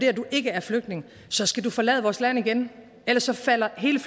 at du ikke er flygtning så skal du forlade vores land igen ellers falder hele